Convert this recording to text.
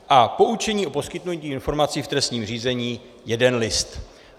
A poučení o poskytnutí informací v trestním řízení - jeden list.